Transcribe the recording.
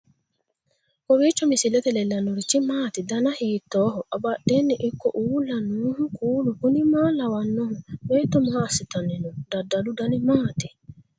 kowiicho misilete leellanorichi maati ? dana hiittooho ?abadhhenni ikko uulla noohu kuulu kuni maa lawannoho? beetto maa assitanni no dadalu dani maati